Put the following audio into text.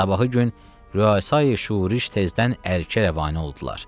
Sabahı gün Rəysai Şuriş tezdən Ərkə rəvanə oldular.